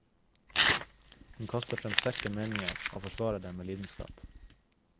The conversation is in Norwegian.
Hun kaster frem sterke meninger og forsvarer dem med lidenskap.